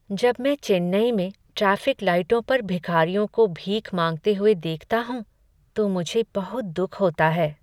जब मैं चेन्नई में ट्रैफिक लाइटों पर भिखारियों को भीख मांगते हुए देखता हूँ तो मुझे बहुत दुख होता है।